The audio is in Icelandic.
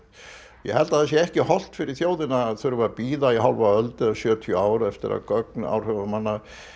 ég held að það sé ekki hollt fyrir þjóðina að bíða í hálfa öld eða í sjötíu ár eftir að gögn áhrifamanna